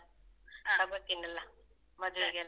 .